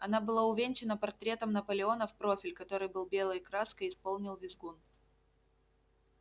она была увенчана портретом наполеона в профиль который белой краской исполнил визгун